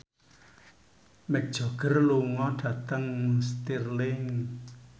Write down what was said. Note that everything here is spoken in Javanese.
Mick Jagger lunga dhateng Stirling